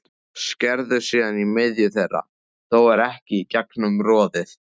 Skerðu síðan í miðju þeirra, þó ekki í gegnum roðið.